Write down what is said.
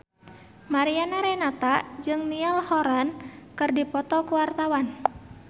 Mariana Renata jeung Niall Horran keur dipoto ku wartawan